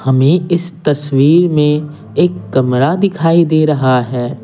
हमें इस तस्वीर में एक कमरा दिखाई दे रहा है।